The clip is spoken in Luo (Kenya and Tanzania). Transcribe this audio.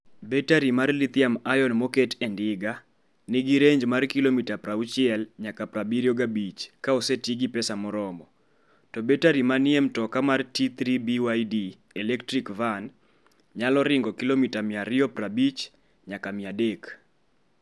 Batterie mar lithium-ion moket e ndiga nigi range mar kilomita 60 nyaka 75 ka oseti gi pesa moromo, to batterie manie mtoka mar T3 BYD electric van nyalo ringo kilomita 250 nyaka 300.